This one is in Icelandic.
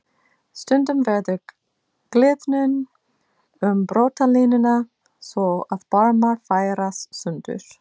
Stundum verður gliðnun um brotalínuna svo að barmar færast sundur.